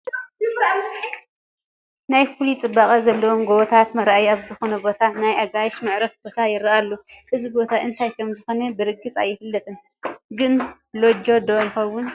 ናብ ፍሉይ ፅባቐ ዘለዎም ጐቦታት መራእይ ኣብ ዝኾነ ቦታ ናይ ኣጋይሽ መዕረፊ ቦታ ይርአ ኣሎ፡፡ እዚ ቦታ እንታይ ከምዝኾነ ብርግፅ ኣይፍለጥን፡፡ ግን ሎጅ ዶ ይኸውን?